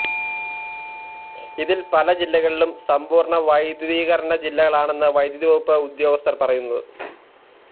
ഇതില് പല ജില്ലകളും സമ്പൂര്ണ്ണ വൈദ്യുതീകരണ ജില്ലകളാണെന്നാണ് വൈദ്യുതി വകുപ്പ് ഉദ്യോഗസ്ഥര് പറയുന്നത്